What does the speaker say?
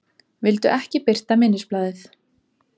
Vildu ekki birta minnisblaðið